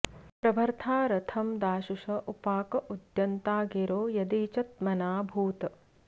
प्रभर्ता रथं दाशुष उपाक उद्यन्ता गिरो यदि च त्मना भूत्